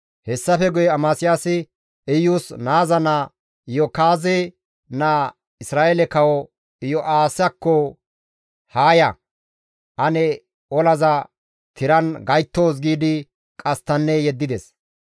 Hessafe guye Amasiyaasi Iyus naaza naa Iyo7akaaze naa Isra7eele kawo Iyo7aasakko, «Haa ya; ane olaza tiran gayttoos» giidi qasttanne yeddides.